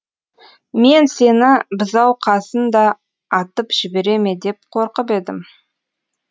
мен сені бұзауқасын да атып жібере ме деп қорқып едім